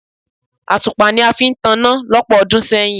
Àtùpà ni a fi ń taná lọ́pọ̀ ọdún sẹ́yìn.